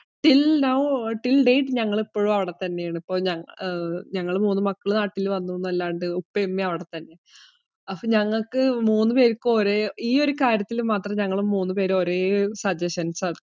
till now till date ഞങ്ങൾ ഇപ്പോഴും അവിടെ തന്നെ ആണ്. അഹ് ഞങ്ങൾ മൂന്ന് മക്കൾ നാട്ടിൽ വന്നു എന്ന് അല്ലാണ്ട്, ഉപ്പയും ഉമ്മയും ഇപ്പോഴും അവിടെ തന്നെ ആണ്. അപ്പോ ഞങ്ങൾക്ക് മൂന്ന് പേർക്കും ഒരേ, ഈ ഒരു കാര്യത്തിൽ മാത്രം ഞങ്ങള് മൂന്ന് പേരും ഒരേ suggestions ആണ്.